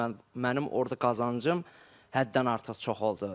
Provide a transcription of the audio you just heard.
Mənim orda qazancım həddən artıq çox oldu.